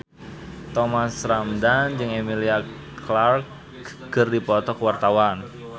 Thomas Ramdhan jeung Emilia Clarke keur dipoto ku wartawan